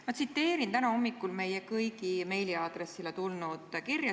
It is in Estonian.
Ma tsiteerin täna hommikul meie kõigi meiliaadressile tulnud kirja.